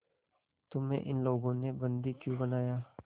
तुम्हें इन लोगों ने बंदी क्यों बनाया